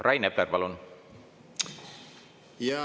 Rain Epler, palun!